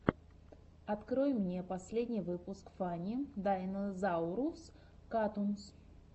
открой мне последний выпуск фанни дайнозаурус катунс